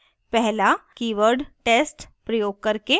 #पहला keyword test प्रयोग करके